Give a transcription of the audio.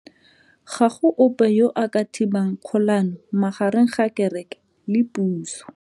Ga go ope yo a ka thibang kgolano magareng ga kereke le puso.